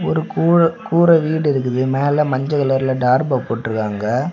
ஒரு கூற வீடு இருக்குது மேல மஞ்ச கலர்ல தார்ப்பா போட்டு இருக்காங்க.